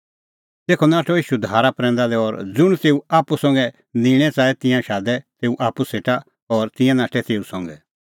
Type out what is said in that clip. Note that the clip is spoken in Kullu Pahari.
तेखअ नाठअ ईशू धारा प्रैंदा लै और ज़ुंण तेऊ आप्पू संघै निंणै च़ाहै तिंयां शादै तेऊ आप्पू सेटा और तिंयां नाठै तेऊ संघै